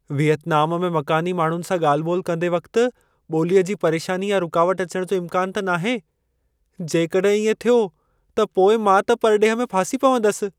Vietnam में मक़ानी माण्हुनि सां ॻाल्हि ॿोल्हि कंदे वक़्त ॿोलीअ जी परेशानी या रुकावट अचण जो इम्कानु त नाहे? जेकॾहिं इएं थियो त पोइ मां त परॾेह में फासी पवंदसि।